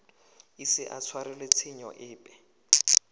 ise a tshwarelwe tshenyo epe